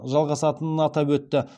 жалғасатынын атап өтті